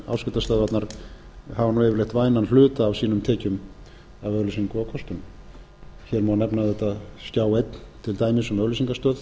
leyti en áskriftarstöðvarnar hafa yfirleitt vænan hluta af sínum tekjum af auglýsingum og kostun hér má nefna auðvitað skjá einn til dæmis um auglýsingastöð